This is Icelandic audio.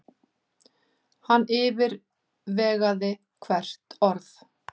Hann yfirvegaði hvert orð.